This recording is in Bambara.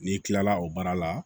N'i kilala o baara la